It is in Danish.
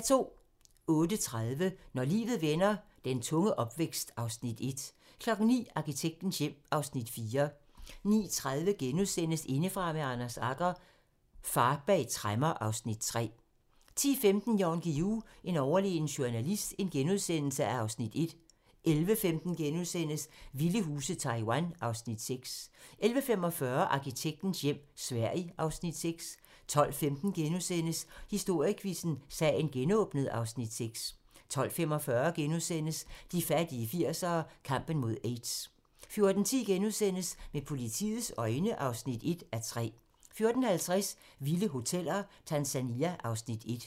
08:30: Når livet vender - den tunge opvækst (Afs. 1) 09:00: Arkitektens hjem (Afs. 4) 09:30: Indefra med Anders Agger - Far bag tremmer (Afs. 3)* 10:15: Jan Guillou - en overlegen journalist (Afs. 1)* 11:15: Vilde huse - Taiwan (Afs. 6)* 11:45: Arkitektens hjem - Sverige (Afs. 6) 12:15: Historiequizzen: Sagen genåbnet (Afs. 6)* 12:45: De fattige 80'ere: Kampen mod aids * 14:10: Med politiets øjne (1:3)* 14:50: Vilde Hoteller - Tanzania (Afs. 1)